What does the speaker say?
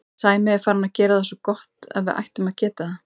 Sæmi er farinn að gera það svo gott að við ættum að geta það.